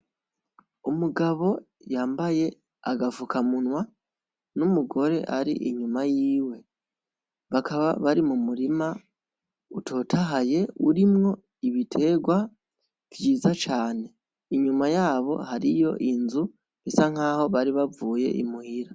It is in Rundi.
Umugabo yambaye agafukamunwa n'umugore ari inyuma yiwe, bakaba bari mu murima utotahaye urimwo ibiterwa vyiza cane, inyuma yabo hariyo inzu isa nkaho bari bavuye i muhira.